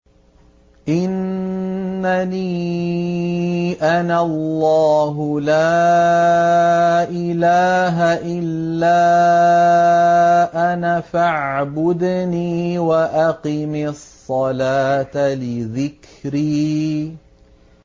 إِنَّنِي أَنَا اللَّهُ لَا إِلَٰهَ إِلَّا أَنَا فَاعْبُدْنِي وَأَقِمِ الصَّلَاةَ لِذِكْرِي